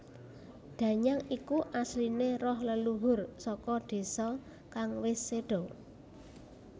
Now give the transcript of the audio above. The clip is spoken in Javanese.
Danyang iku asline roh leluhur saka désa kang wis sedo